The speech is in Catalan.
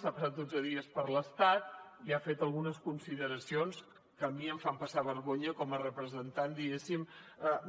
s’ha passat dotze dies per l’estat i ha fet algunes consideracions que a mi em fan passar vergonya com a representant diguéssim